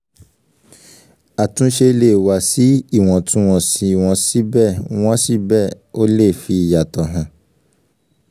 àtúnṣe lè wà sí iwọntún-wọnsì wọn síbẹ̀ wọn síbẹ̀ ó lè fi ìyàtọ̀ hàn